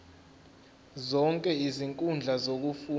zonke izinkundla zokufunda